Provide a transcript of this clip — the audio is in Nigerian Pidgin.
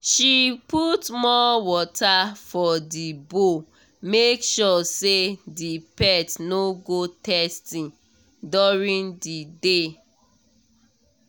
she put more water for the bowl make sure say the pet no go thirsty during the day